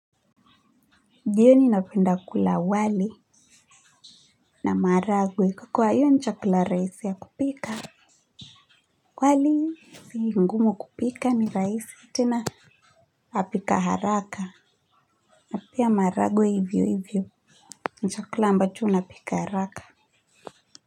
Jioni ninapenda kukula wali na maharagwe kwa hiyo ni chakula rahisi ya kupika wali si ngumu kupika ni rahisi tena napika haraka na pia maharagwe hivyo hivyo ni chakula ambacho napika haraka.